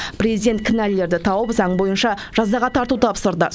президент кінәлілерді тауып заң бойынша жазаға тарту тапсырды